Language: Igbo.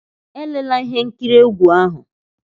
Elela ihe nkiri egwu ahu!